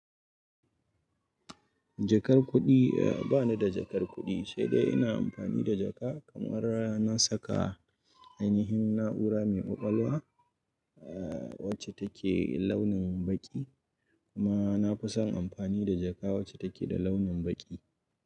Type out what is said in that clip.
Jakar kuɗi, ba ni da jakar kuɗi, sai dai ina amfani da jaka kamar na saka ainihin na’ura mai ƙwaƙwalwa wacce take launin baƙi kuma na fi son amfani da jaka wacce take da launin baƙi.